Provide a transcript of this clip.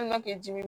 Hali n'a kɛ di dim